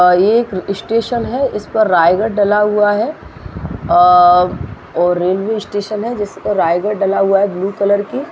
ये एक स्टेशन है इस पर रायगड़ डला हुआ है और रेलवे स्टेशन है जिस पर रायगड़ डला हुआ है ब्लू कलर की।